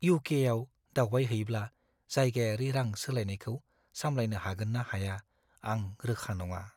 इउ.के.आव दावबायहैब्ला जायगायारि रां-सोलायनायखौ सामलायनो हागोन ना हाया, आं रोखा नङा।